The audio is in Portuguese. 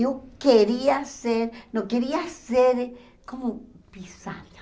Eu queria ser, não queria ser como pisada.